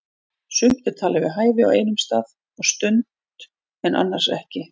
Sumt er talið við hæfi á einum stað og stund en annars ekki.